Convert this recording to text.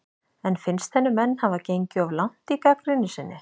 En finnst henni menn hafa gengið of langt í gagnrýni sinni?